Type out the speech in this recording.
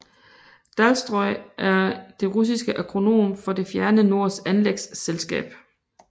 Dalstroj er det russiske akronym for Det fjerne nords anlægsselskab